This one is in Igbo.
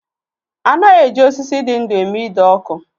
A naghị eji osisi dị ndú eme ide ọkụ.